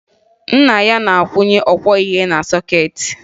Nne ya na-akwụnye ọkwọihe na sọkeetị